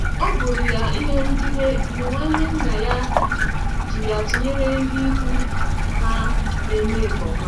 ọbụrụ ya ihe nrugide mgbe nwanne nna ya ji ya tụnyere ndị ikwu ha na-eme nke ọma.